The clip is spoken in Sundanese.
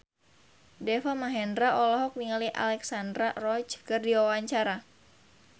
Deva Mahendra olohok ningali Alexandra Roach keur diwawancara